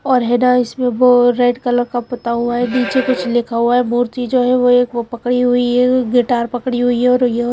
और है ना इसमें वो रेड कलर का पुता हुआ है नीचे कुछ लिखा हुआ है मूर्ति जो है वो एक वो पकड़ी हुई है गिटार पकड़ी हुई है और यह --